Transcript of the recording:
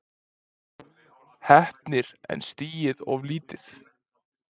Heppnir en stigið of lítið